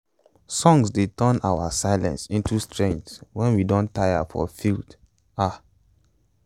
songs dey turn um silence into strength wen we don dey tire for field um